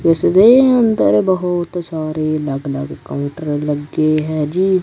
ਇਸਦੇ ਅੰਦਰ ਬਹੁਤ ਸਾਰੇ ਅਲੱਗ ਅਲੱਗ ਕਾਉੰਟਰ ਲੱਗੇ ਹੈ ਜੀ।